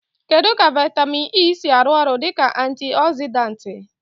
Kedu ka vitamin E si arụ ọrụ dị ka antioxidant?